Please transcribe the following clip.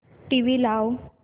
TV लाव